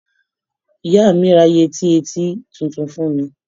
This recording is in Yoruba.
Ìyá mi ra yẹti ẹtí tuntun fún mi.